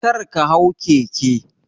Karka hau keke.